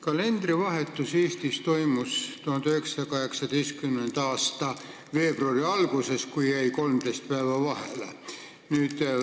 Kalendrivahetus Eestis toimus 1918. aasta veebruari alguses, kui jäi 13 päeva vahele.